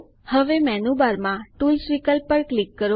હવે મેનૂબારમાં ટૂલ્સ વિકલ્પ પર ક્લિક કરો